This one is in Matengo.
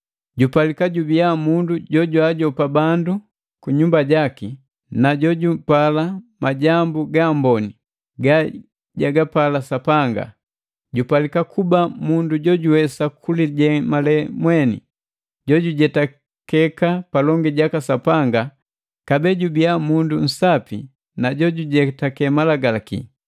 Jupalika jubiya mundu jojwaajopa bandu kunyumba jaki na jojupala majambu gaamboni gajagapala Sapanga. Jupalika kuba mundu jojuwesa kulijemale mweni, jojujetakeka palongi jaka Sapanga kabee jubia mundu nsapi na jojujetake malagalaki.